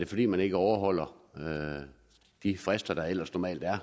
fordi man ikke overholder de frister der ellers normalt er er